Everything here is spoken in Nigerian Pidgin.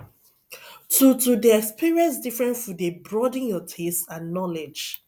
to to dey experience different food dey broaden your taste and knowledge